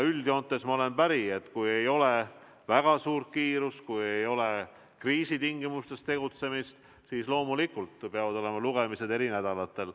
Üldjoontes ma olen päri, et kui ei ole väga suurt kiirust, kui ei ole kriisitingimustes tegutsemist, siis loomulikult peavad olema lugemised eri nädalatel.